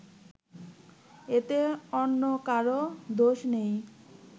এতে অন্য কারও দোষ নেই